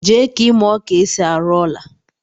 Jee ka imuo ka esi arụ ọla